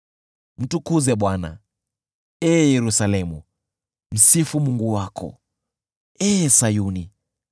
Mtukuze Bwana , ee Yerusalemu, msifu Mungu wako, ee Sayuni,